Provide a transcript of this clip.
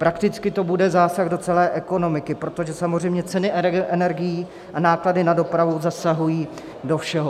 Prakticky to bude zásah do celé ekonomiky, protože samozřejmě ceny energií a náklady na dopravu zasahují do všeho.